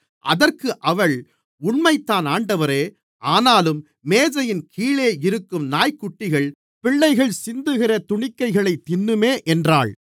அதற்கு அவள் உண்மைதான் ஆண்டவரே ஆனாலும் மேஜையின்கீழே இருக்கும் நாய்க்குட்டிகள் பிள்ளைகள் சிந்துகிற துணிக்கைகளைத் தின்னுமே என்றாள்